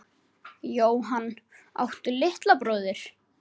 Jóhann: Áttu litla bróðir?